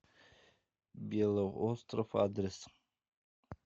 белоостров адрес